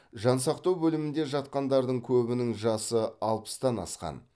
жансақтау бөлімінде жатқандардың көбінің жасы алпыстан асқан